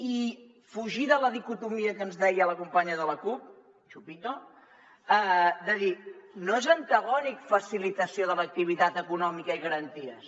i fugir de la dicotomia que ens deia la companya de la cup chupitono és antagònic facilitació de l’activitat econòmica i garanties